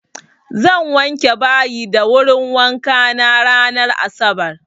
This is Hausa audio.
Zan wanke bayi da wurin wankana ranar asabar.